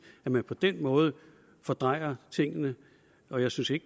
at man på den måde fordrejer tingene og jeg synes ikke